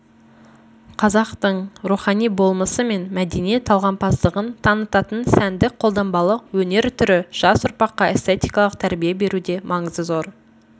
қазақтың рухани болмысы мен мәдени талғампаздығын танытатын сәндік-қолданбалы өнер түрі жас ұрпаққа эстетикалық тәрбие беруде маңызы зор